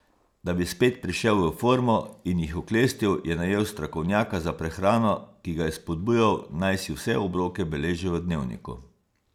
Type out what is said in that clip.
Da bi spet prišel v formo in jih oklestil, je najel strokovnjaka za prehrano, ki ga je spodbujal, naj si vse obroke beleži v dnevniku.